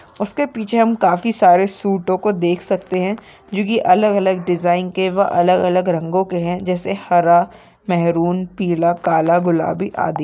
उसके पीछे हम काफी सारे सूटो को देख सकते है जो की अलग अलग डिज़ाइन के व अलग अलग रंगो के है जैसे हरा मरून पीला काला गुलाबी आदि--